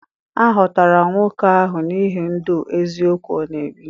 A họtara nwoke ahụ n’ihi ndụ eziokwu ọ na-ebi.